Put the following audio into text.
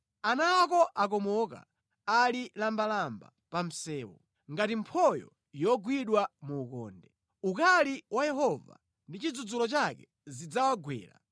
Ana ako akomoka; ali lambalamba pa msewu, ngati mphoyo yogwidwa mu ukonde. Ukali wa Yehova ndi chidzudzulo chake zidzawagwera.